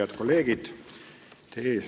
Head kolleegid!